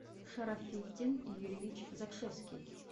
шарафиддин юрьевич закшевский